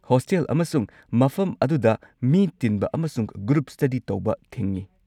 Hostel ꯑꯃꯁꯨꯡ ꯃꯐꯝ ꯑꯗꯨꯗ ꯃꯤ ꯇꯤꯟꯕ ꯑꯃꯁꯨꯡ ꯒ꯭ꯔꯨꯞ ꯁ꯭ꯇꯗꯤ ꯇꯧꯕ ꯊꯤꯡꯉꯤ꯫